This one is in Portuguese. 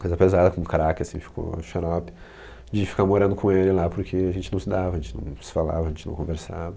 Coisa pesada, como craque, assim, ficou a xarope de ficar morando com ele lá, porque a gente não se dava, a gente não se falava, a gente não conversava.